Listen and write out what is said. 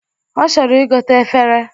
Ọ chọrọ igote efere